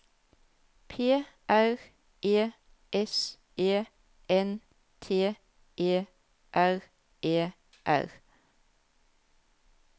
P R E S E N T E R E R